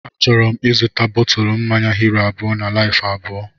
Achọrọ m ịzụta bọtụlu mmanya Hiro abụọ na Laifu abụọ